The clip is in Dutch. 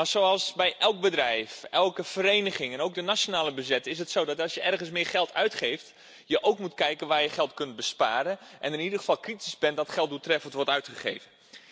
Maar zoals bij elk bedrijf, elke vereniging en ook in de nationale begroting is het zo dat als je ergens meer geld uitgeeft, je ook moet kijken waar je geld kunt besparen en in ieder geval kritisch bent dat het geld doeltreffend wordt uitgegeven.